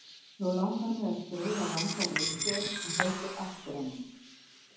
Nú langar mig að skrifa langa ritgerð en held aftur af mér.